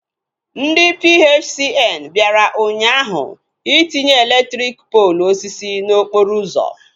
Ndị PHCN bịara ụnyaahụ itinye elektriki poolu osisi n'okporo ụzọ